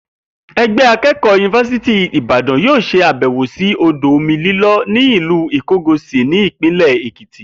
E̩gbé̩ aké̩kò̩ó̩ ti Yunifásítì Ìbàdàn yóò s̩e àbè̩wò sí odò omi líló̩ ní ìlú Ìko̩gòsì ní Ìpínlè̩ Èkìtì